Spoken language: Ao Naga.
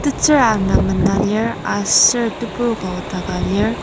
tetsür ana mena lir aser tebur ka nokdaka lir.